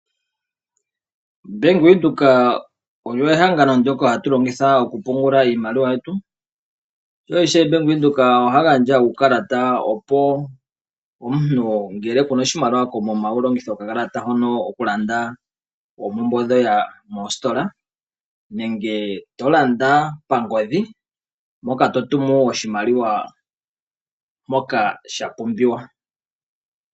Bank Windhoek olyo ehangano ndoka hatu longitha oku pungula iimaliwa yetu. Ye ishewe Bank Windhoek ohaya gandja uukalata opo omuntu ngele kuna oshimaliwa koomuma wu longithe okakalata hono oku landa oompumbwe dhiye moositola nenge to landa pangodhi, mpoka to tumu oshimaliwa mpoka sha pumbiwa.